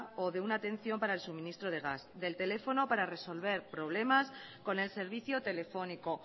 o de una atención para el suministro del gas del teléfono para resolver problemas con el servicio telefónico